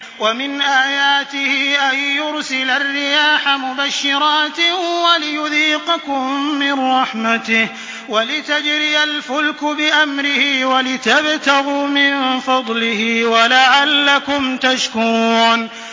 وَمِنْ آيَاتِهِ أَن يُرْسِلَ الرِّيَاحَ مُبَشِّرَاتٍ وَلِيُذِيقَكُم مِّن رَّحْمَتِهِ وَلِتَجْرِيَ الْفُلْكُ بِأَمْرِهِ وَلِتَبْتَغُوا مِن فَضْلِهِ وَلَعَلَّكُمْ تَشْكُرُونَ